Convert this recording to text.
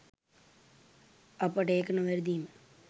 අපට ඒක නොවැරදීම